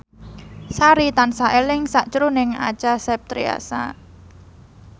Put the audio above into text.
Sari tansah eling sakjroning Acha Septriasa